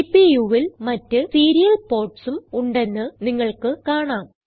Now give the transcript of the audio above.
CPUൽ മറ്റ് സീരിയൽ portsഉം ഉണ്ടെന്ന് നിങ്ങൾക്ക് കാണാം